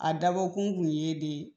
A dabɔkun kun ye de